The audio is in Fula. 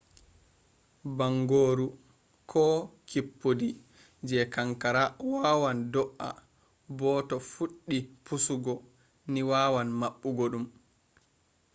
bangoru ko kippudi je kankara wawan do’a bo to fuɗɗi pusugo ni wawan maɓɓugo ɗum